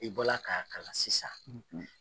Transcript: I bɔla k'a kalan sisan.